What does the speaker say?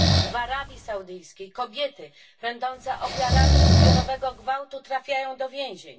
W Arabii Saudyjskiej kobiety będące ofiarami zbiorowego gwałtu trafiają do więzień.